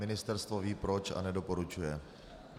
Ministerstvo ví proč a nedoporučuje.